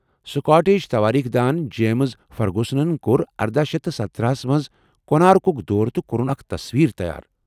Scottish توٲریٖخ دان James فرگوسنن کوٚر اردہ شیتھ تہٕ سَتتٔرہ ہس منٛز کونارکُک دورٕ تہٕ کوٚرن اکھ تصویر تیار